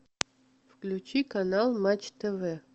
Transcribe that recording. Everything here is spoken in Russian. включи канал матч тв